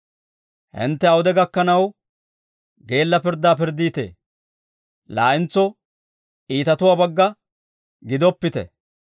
«Hintte awude gakanaw geella pirddaa pirddiitee; laa"entso iitatuwaa bagga gidoppite.